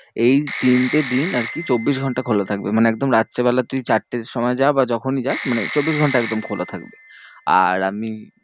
এই তিনটে দিন আরকি চব্বিশ ঘন্টা খোলা থাকবে। মানে একদম রাত্রিবেলা তুই চারটের সময় যা বা যখনই যাস মানে চব্বিশ ঘন্টা একদম খোলা থাকবে। আর আমি